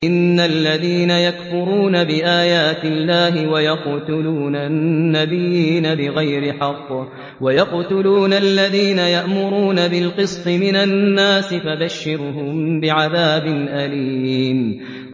إِنَّ الَّذِينَ يَكْفُرُونَ بِآيَاتِ اللَّهِ وَيَقْتُلُونَ النَّبِيِّينَ بِغَيْرِ حَقٍّ وَيَقْتُلُونَ الَّذِينَ يَأْمُرُونَ بِالْقِسْطِ مِنَ النَّاسِ فَبَشِّرْهُم بِعَذَابٍ أَلِيمٍ